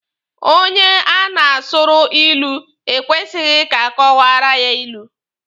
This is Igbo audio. Onye a na-asụrụ ilu ekwesighi ka a kọwaara ya ilu.